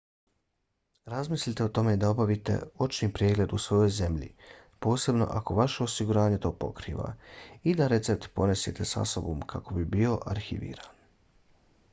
razmislite o tome da obavite očni pregled u svojoj zemlji posebno ako vaše osiguranje to pokriva i da recept ponesete sa sobom kako bi bio arhiviran